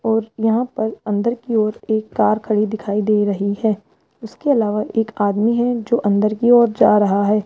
और यहां पर अंदर की ओर एक कार खड़ी दिखाई दे रही है उसके अलावा एक आदमी है जो अंदर की ओर जा रहा है।